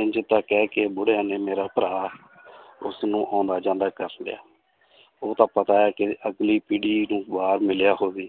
ਇੰਞ ਤਾਂ ਕਹਿ ਕੇ ਬੁੜਿਆਂ ਨੇ ਮੇਰਾ ਭਰਾ ਉਸਨੂੰ ਆਉਂਦਾ ਜਾਂਦਾ ਕਰ ਲਿਆ ਉਹ ਤਾਂ ਪਤਾ ਹੈ ਕਿ ਅਗਲੀ ਪੀੜ੍ਹੀ ਤੋਂ ਬਾਅਦ ਮਿਲਿਆ ਹੋਵੇ